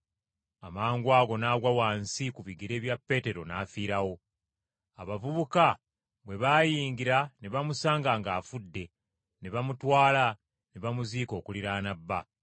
Amangwago n’agwa wansi ku bigere bya Peetero n’afiirawo. Abavubuka bwe baayingira ne bamusanga ng’afudde ne bamutwala ne bamuziika okuliraana bba.